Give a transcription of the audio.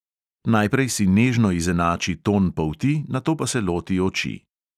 Najprej si nežno izenači ton polti, nato pa se loti oči.